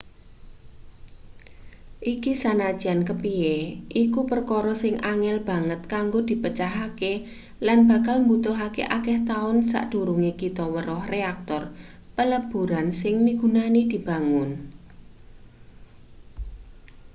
iki sanajan kepiye iku perkara sing angel banget kanggo dipecahke lan bakal mbutuhake akeh taun sadurunge kita weruh reaktor peleburan sing migunani dibangun